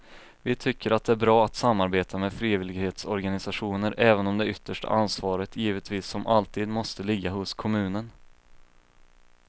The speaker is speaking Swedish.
Vi tycker att det är bra att samarbeta med frivillighetsorganisationer även om det yttersta ansvaret givetvis som alltid måste ligga hos kommunen.